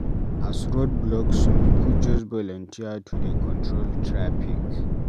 As road block, some pipu just volunteer to dey control traffic.